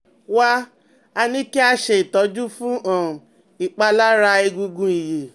Wá a ní kí a ṣe ìtọ́jú fún um ìpalára egungun ìyẹ́